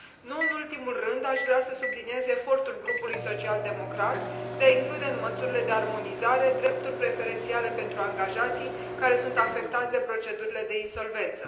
Nu în ultimul rând, aș vrea să subliniez efortul grupului social democrat de a include în măsurile de armonizare drepturi preferențiale pentru angajații care sunt afectați de procedurile de insolvență.